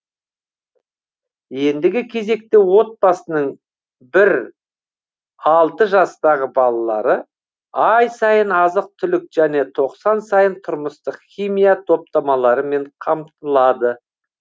ендігі кезекте отбасының бір алты жастағы балалары ай сайын азық түлік және тоқсан сайын тұрмыстық химия топтамаларымен қамтылады